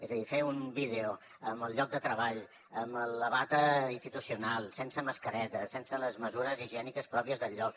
és a dir fer un vídeo en el lloc de treball amb la bata institucional sense mascareta sense les mesures higièniques pròpies del lloc